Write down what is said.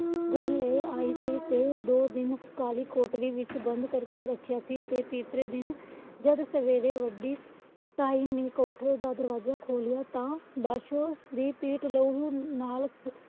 ਘਰ ਲੈ ਆਇ ਸੀ। ਤੇ ਦੋ ਦਿਨ ਕਾਲੀ ਕੋਠੜੀ ਵਿੱਚ ਬੰਦ ਕਰਕੇ ਰੱਖਿਆ ਸੀ। ਤੇ ਤੀਸਰੇ ਦਿਨ ਜਦ ਸਵੇਰੇ ਵੱਡੀ ਕਾਲ ਕੋਠੜੀ ਦਾ ਦਰਵਾਜਾ ਖੋਲੀਆਂ ਤਾਂ ਪਾਸ਼ੋ ਦੀ ਪੀਠ ਲਹੂ ਨਾਲ